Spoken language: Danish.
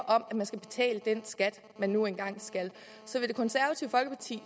om at man skal betale den skat man nu engang skal så vil det konservative folkeparti